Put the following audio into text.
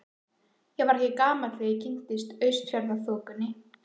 Ég var ekki gamall þegar ég kynntist Austfjarðaþokunni.